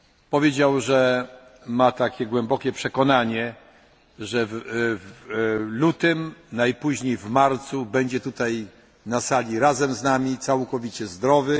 Powiedział, że ma takie głębokie przekonanie, że w lutym, najpóźniej w marcu, będzie tutaj na sali razem z nami całkowicie zdrowy.